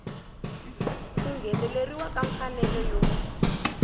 ku ngheneleriwa ka mfanelo yo